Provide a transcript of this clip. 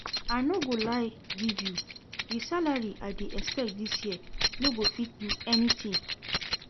I no go lie give you, the salary I dey expect dis year no go fit do anything